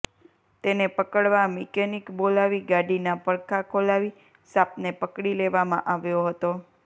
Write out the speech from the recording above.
તેને પકડવા મિકેનિક બોલાવી ગાડીના પડખાં ખોલાવી સાપને પકડી લેવામાં આવ્યો હતો